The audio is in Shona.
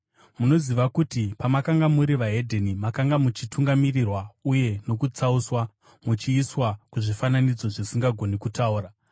Munoziva kuti pamakanga muri vahedheni, makanga muchitungamirirwa uye nokutsauswa muchiiswa kuzvifananidzo zvisingagoni kutaura.